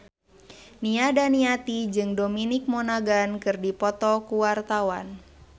Nia Daniati jeung Dominic Monaghan keur dipoto ku wartawan